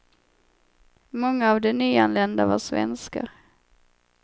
Många av de nyanlända var svenskar.